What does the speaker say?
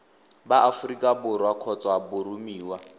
ba aforika borwa kgotsa boromiwa